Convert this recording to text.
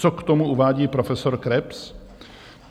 Co k tomu uvádí profesor Krebs?